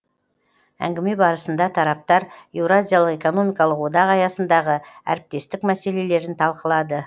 әңгіме барысында тараптар еуразиялық экономикалық одақ аясындағы әріптестік мәселелерін талқылады